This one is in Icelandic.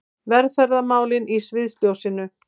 Velferðarmálin í sviðsljósinu